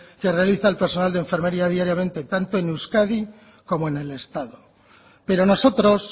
que realiza el personal de enfermería diariamente tanto en euskadi como en el estado pero nosotros